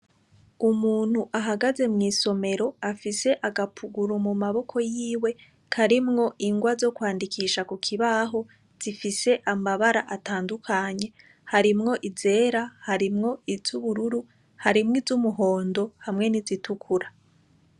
Umuntu ahagaze mw'isomero afise agapuguru mumaboko yiwe karimwo ingwa zo kwandikisha kukibaho zifise amabara atandukanye. Harimwo izera, harimwo iz'ubururu, harimwo iz'umuhondo, hamwe n'izitukura.